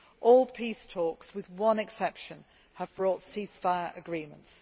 All peace talks with one exception have brought ceasefire agreements.